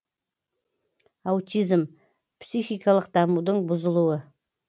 аутизм психикалық дамудың бұзылуы